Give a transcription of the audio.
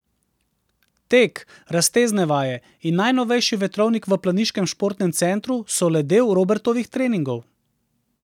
Tek, raztezne vaje in najnovejši vetrovnik v planiškem športnem centru so le del Robertovih treningov.